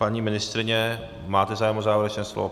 Paní ministryně, máte zájem o závěrečné slovo?